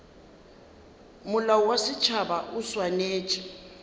molao wa setšhaba o swanetše